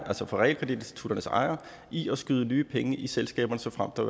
altså realkreditinstitutternes ejere i at skyde nye penge i selskaberne såfremt der